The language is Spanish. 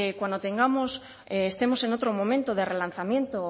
cuando estemos en otro momento de relanzamiento